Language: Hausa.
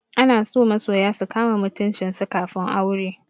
Ana so masoya su kama mutuncin su kafin aure.